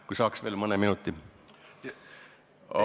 Kui saaks veel mõne minuti?